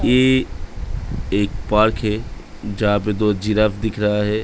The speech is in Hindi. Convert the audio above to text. ये एक पार्क है। जहां पे दो जिराफ दिख रहा है।